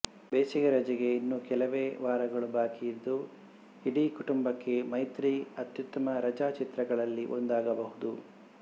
ಬೇಸಿಗೆ ರಜೆಗೆ ಇನ್ನು ಕೆಲವೇ ವಾರಗಳು ಬಾಕಿಯಿದ್ದು ಇಡೀ ಕುಟುಂಬಕ್ಕೆ ಮೈತ್ರಿ ಅತ್ಯುತ್ತಮ ರಜಾ ಚಿತ್ರಗಳಲ್ಲಿ ಒಂದಾಗಬಹುದು